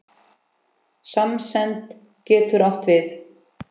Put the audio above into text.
Samsemd getur átt við